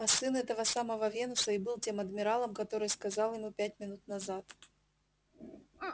а сын этого самого венуса и был тем адмиралом который сказал ему пять минут назад